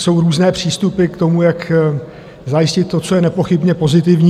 Jsou různé přístupy k tomu, jak zajistit to, co je nepochybně pozitivní.